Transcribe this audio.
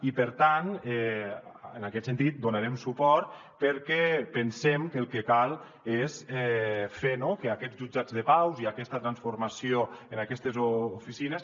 i per tant en aquest sentit hi donarem suport perquè pensem que el que cal és fer que aquests jutjats de pau i aquesta transformació en aquestes oficines